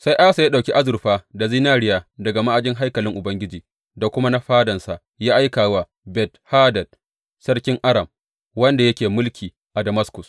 Sai Asa ya ɗauki azurfa da zinariya daga ma’ajin haikalin Ubangiji da kuma na fadansa ya aika wa Ben Hadad sarkin Aram, wanda yake mulki a Damaskus.